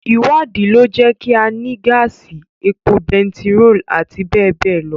Ìwádìí lọ jẹ́ kí á ní gáàsì, epo bentiróòlù, àti bẹ́ẹ̀ bẹ́ẹ̀ lọ.